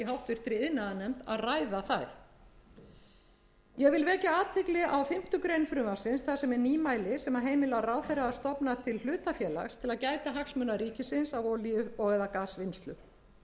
háttvirtri iðnaðarnefnd að ræða það ég vil vekja athygli á fimmtu grein frumvarpsins þar sem er nýmæli sem heimilar ráðherra að stofna til hlutafélags til að gæta hagsmuna ríkisins á olíu og eða gasvinnslu þar er